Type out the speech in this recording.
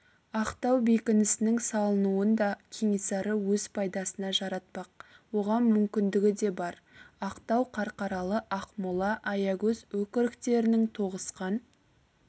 ақтау бекінісінің салынуын да кенесары өз пайдасына жаратпақ оған мүмкіндігі де бар ақтау қарқаралы ақмола аягөз өкіріктерінің тоғысқан